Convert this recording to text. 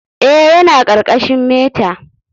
Eh, yana ƙarƙashin meta.